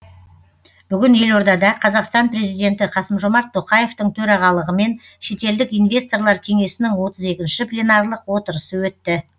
бүгін елордада қазақстан президенті қасым жомарт тоқаевтың төрағалығымен шетелдік инвесторлар кеңесінің отыз екінші пленарлық отырысы өтті